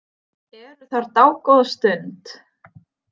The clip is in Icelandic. Eru þar dágóða stund.